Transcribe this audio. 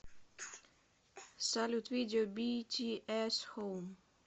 салют видео битиэс хоум